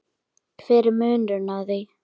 hver er munurinn á því?